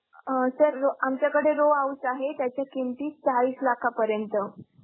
अं sir, आमच्याकडे row house आहे, त्याची किंमती चाळीस लाखापर्यंत.